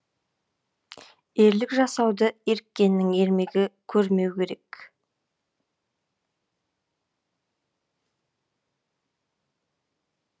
ерлік жасауды еріккеннен ермегі көрмеу керек